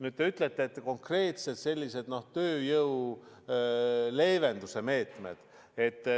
Nüüd te räägite konkreetselt sellistest tööjõumurede leevenduse meetmetest.